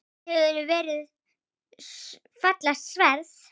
Þetta hefur verið fallegt sverð?